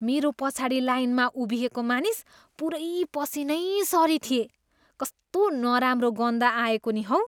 मेरो पछाडि लाइनमा उभिएको मानिस पुरै पसिनैसरि थिए, कस्तो नराम्रो गन्ध आएको नि हौ।